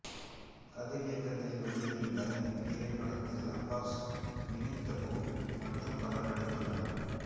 கதிர் இயக்கத்தில் வெளிவந்த இத்திரைப்படத்தில் அப்பாஸ் வினீத் தபு மற்றும் பலர் நடித்துள்ளனர்